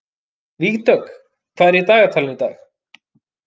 Vígdögg, hvað er í dagatalinu í dag?